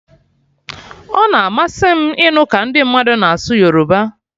Ọ na-amasị m ịnụ ka ndi mmadụ na asụ Yoruba